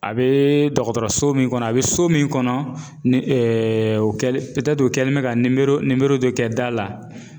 A bee dɔgɔtɔrɔso min kɔnɔ a bɛ so min kɔnɔ ni o kɛlen o kɛlen bɛ ka dɔ kɛ da la